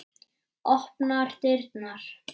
Opnar dyrnar.